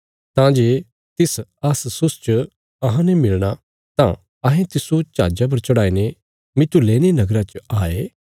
तां जे सै अस्सुस च अहां मिलणा तां अहें तिस्सो जहाजा पर चढ़ाईने मितुलेने नगरा च आये